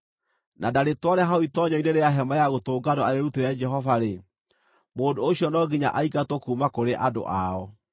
na ndarĩtware hau itoonyero-inĩ rĩa Hema-ya-Gũtũnganwo arĩrutĩre Jehova-rĩ, mũndũ ũcio no nginya aingatwo kuuma kũrĩ andũ ao.